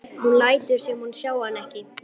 Hún lætur sem hún sjái hann ekki.